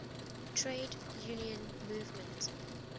trade union movement